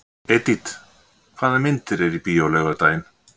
Edith, hvaða myndir eru í bíó á laugardaginn?